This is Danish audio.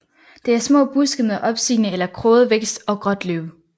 Det er små buske med opstigende eller kroget vækst og gråt løv